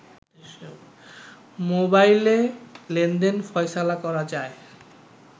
মোবাইলে লেনদেন ফয়সালা করা যায়